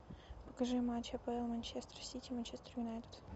покажи матч апл манчестер сити манчестер юнайтед